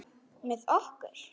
Með okkur?